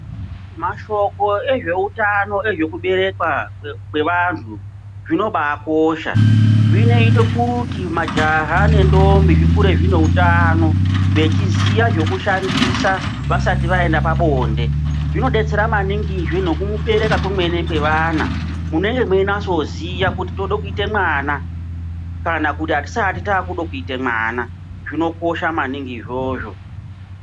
Mashoko ezveutano ezvekuberekwa kwevantu zvinobakosha zvinoita kuti majaha nentombi zvikure zvine utano vechiziya zvekushandisa vasati vaenda pabonde. Zvinodetsera maningizve nekuberekwa kwemene kwevana munenge muchinyatsoziya kuti tode kuite mwana kana kuti atisati takuda kuita mwana zvinokosha maningi izvozvo.